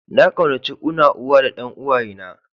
Na kaunace una, uwa da dan uwaye na.